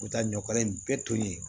U bɛ taa ɲɔkala in bɛɛ toli